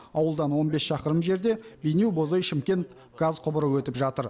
ауылдан он бес шақырым жерде бейнеу бозой шымкент газ құбыры өтіп жатыр